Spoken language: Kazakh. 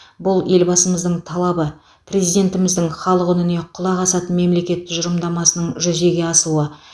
бұл елбасымыздың талабы президентіміздің халық үніне құлақ асатын мемлекет тұжырымдамасының жүзеге асуы